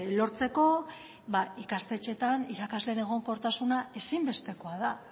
lortzeko ikastetxeetan irakasleen egonkortasuna ezinbestekoa da